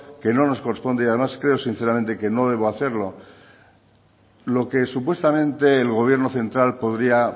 que no nos corresponde y además creo sinceramente que no debo hacerlo lo que supuestamente el gobierno central podría